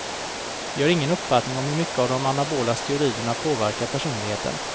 Vi har ingen uppfattning om hur mycket de anabola steroiderna påverkar personligheten.